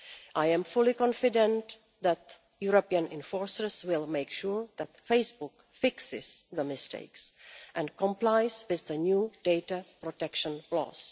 I am fully confident that European enforcers will make sure that Facebook fixes the mistakes and complies with the new data protection laws.